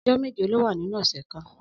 Ọjọ méjé ló wà ninú ọsẹ kàn